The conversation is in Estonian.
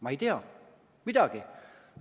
Ma ei tea, mitte midagi.